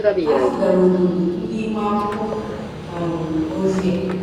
Ha zigara obodo ndị ime akwụkwọ um ozi a.